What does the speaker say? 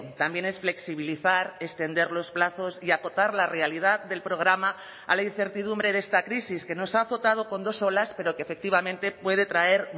también es flexibilizar extender los plazos y acotar la realidad del programa a la incertidumbre de esta crisis que nos ha azotado con dos olas pero que efectivamente puede traer